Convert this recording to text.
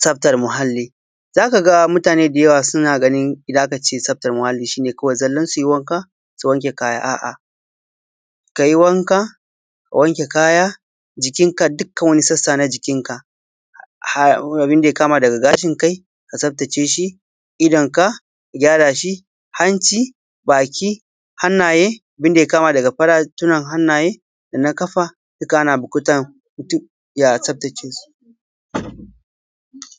tsaftar muhalliː. Zaː kaː gaː muːtaneː daː yaːwaː suːnaː ganin ceːwaː idan akaː ceː tsaftar muhalliː, shiː neː kullum suː yiː wankaː, suː wankeː kayaː. A’ aː Kaːiː wankaː, kaː wankeː kayaː, jikin dukkan waniː saːssaː naː jikiːnkaː, har aːbuːn daː yaː kaːmaː daː gashin kaːiː, kaː tsaftaːceː shiː. Idoːnkaː, kaː gyaːraː shiː. Haːnciː, baːkiː, han’naːyeː, aːbuːn daː yaː kaːmaː daː far’atunan han’naːyeː daː naː ƙafaː dukkaː anaː buƙaːtaːn duːk yaː tsaftaːceː suː.